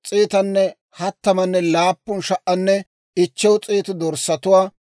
unttunttuppe Med'inaa Godaw imotaa kesseeddawanttu 675.